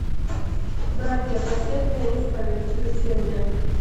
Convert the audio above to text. братья последняя исповедь включи мне